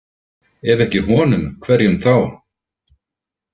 Ef ekki honum, hverjum þá?